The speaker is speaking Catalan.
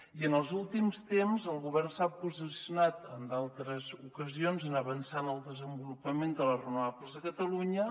i en els últims temps el govern s’ha posicionat en altres ocasions en avançar en el desenvolupament de les renovables a catalunya